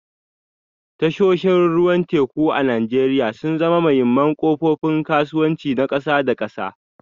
Tashoshin ruwan teku a Najeriya sun zama muhimman kofofin kasuwanci na kasa da kasa